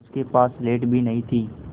उसके पास स्लेट भी नहीं थी